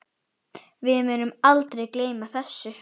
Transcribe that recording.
Við munum aldrei gleyma þessu.